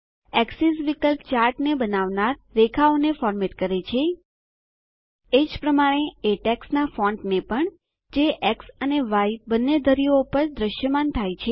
axis વિકલ્પ ચાર્ટને બનાવનાર રેખાઓને ફોર્મેટ કરે છે એ જ પ્રમાણે એ ટેક્સ્ટના ફોંટને પણ જે એક્સ અને ય બંને ધરીઓ પર દ્રશ્યમાન થાય છે